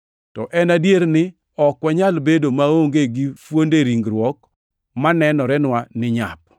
To en adier ni ok wanyal bedo maonge gi fuonde ringruok manenorenwa ni nyap.